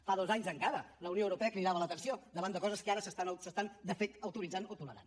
fa dos anys encara la unió europea cridava l’atenció davant de coses que ara s’estan de fet autoritzant o tolerant